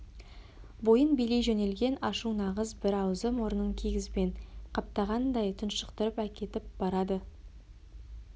бойын билей жөнелген ашу нағыз бір аузы-мұрнын кигізбен қаптағандай тұншықтырып әкетіп барады